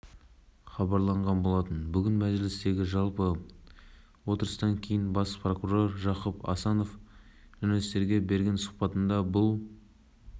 кеше астанада бас прокуратура ғимаратының жанында жылғы әйелдің сыртқы киімін шешіп бензин құйып өзін-өзі өртеп жібергені